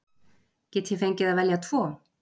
Get ég fengið að velja tvo?